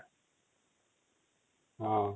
ହଁ |